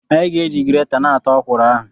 Anyị ga-eji gireta na-ata okwuru ahụ.